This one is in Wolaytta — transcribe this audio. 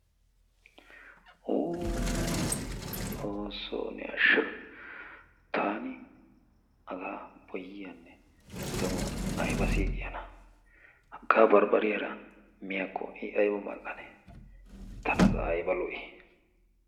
Uuuu! xoossoo ne asha! taani hagaa boyiyaanne donuwaa ayba siqiyaanaa! hagaa barbbariyaara miyaakko i ayba mal"anee? tana qa ayba lo"ii?